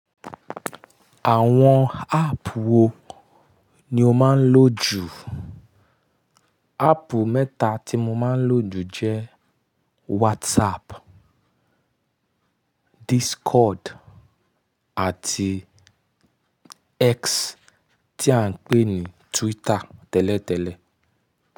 Àwọn áàpù wo ni o máa ń lò jù? Áàpù mẹ́ta tí mo máa ń lò jù jẹ́ WhatsApp, Discord àti X tí à ń pè ní Twitter tẹ́lẹ̀tẹ́lẹ̀.